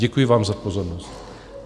Děkuji vám za pozornost.